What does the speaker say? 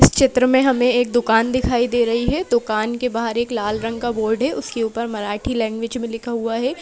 चित्र में हमें एक दुकान दिखाई दे रही है दुकान के बाहर एक लाल रंग का बोर्ड है उसके ऊपर मराठी लैंग्वेज में लिखा हुआ है।